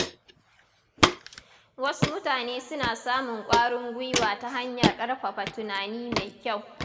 Wasu mutane suna samun ƙwarin gwiwa ta hanyar ƙarfafa tunani mai kyau.